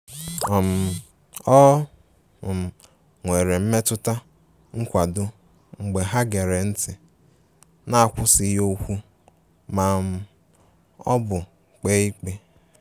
um O um nwere mmetụta nkwado mgbe ha gere ntị n'akwụsịghị okwu ma um ọ bụ kpee ikpe.